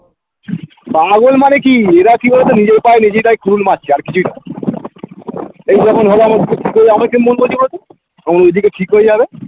পাগল মানে কি এরা কি বলোতো নিজের পায়ে নিজেরাই কুড়ুল মারছে আর কিছুই নয় এই যেমন আমার কিরম মন বলছে বলোতো আমার ওদিকে ঠিক হয়ে যাবে